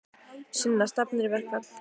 Sunna: Stefnir í verkfall?